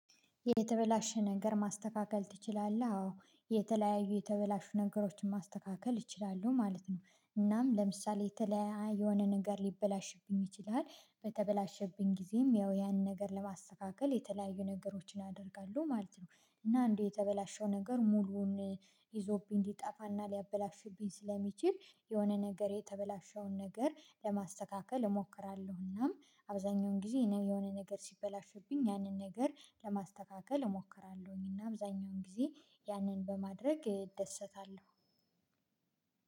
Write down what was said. የተበላሸ ነገር ማስተካከል ትችላለህ? አዎ የተለያዩ የተበላሹ ነገሮችን ማስተካከል እችላለሁ ማለት ነው። እናም ለምሳሌ የተለያየ የሆነ ነገር ሊበላሽብኝ ይችላል። በተበላሸብኝ ጊዜም ያው ያንን ነገር ለማስተካከል የተለያዩ ነገሮችን አደርጋለሁ ማለት ነው። እና እንደው የተበላሸው ነገር ሙሉውን ይዞብኝ ሊጠፋና ሊያበላሽብኝ ስለሚችል የሆነ ነገር የተበላሸውን ነገር ለማስተካከል እሞክራለሁ እናም አብዛኛውን ጊዜ የሆነ ነገር ሲበላሽብኝ ያንን ነገር ለማስተካከል እሞክራለሁኝ። እና አብዛኛውን ጊዜ ያንን በማድረግ እደሰታለሁ።